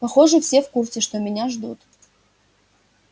похоже все в курсе что меня ждут